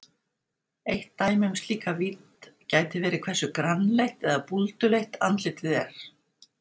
Eitt dæmi um slíka vídd gæti verið hversu grannleitt eða búlduleitt andlitið er.